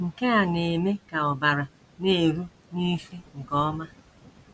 Nke a na - eme ka ọbara na - eru n’isi nke ọma.